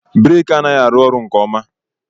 Breeki a anaghị arụ ọrụ nke ọma.